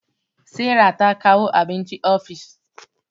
Sara ta kawo abinci ofis